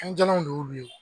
Fɛn jalanw de y'olu